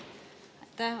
Aitäh!